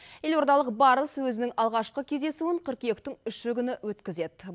елордалық барыс өзінің алғашқы кездесуін қыркүйектің үші күні өткізеді